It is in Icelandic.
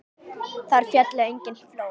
Þar féllu engin flóð.